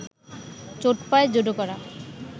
চোট পায় জুডোকারা